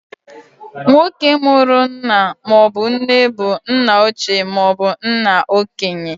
Nwoke mụrụ nna maọbụ nne bụ nna ochie maobu nna okenye.